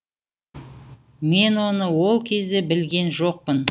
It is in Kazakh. мен оны ол кезде білген жоқпын